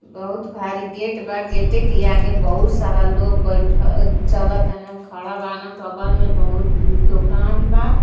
बहुत भारी गेट बा। गेटे के आगे बहुत सारा लोग बैठ अ चलतन खड़ा बान बगल में बहुत अं दुकान बा।